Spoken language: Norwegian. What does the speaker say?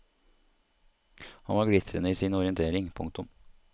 Han var glitrende i sin orientering. punktum